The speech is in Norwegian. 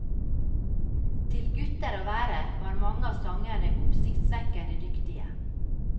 Til gutter å være var mange av sangerne oppsiktsvekkende dyktige.